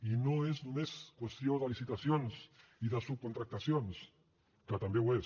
i no és només qüestió de licitacions i de subcontractacions que també ho és